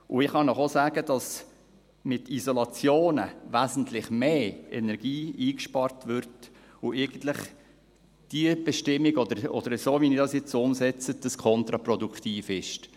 Und ich kann Ihnen auch sagen, dass mit Isolationen wesentlich mehr Energie eingespart würde und die Bestimmung oder so, wie Sie sie jetzt umsetzen, eigentlich kontraproduktiv ist.